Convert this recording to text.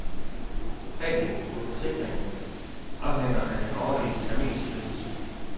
Præmien på forsikringen afhænger af den årlige terminsydelse.